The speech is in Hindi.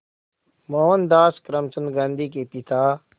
मोहनदास करमचंद गांधी के पिता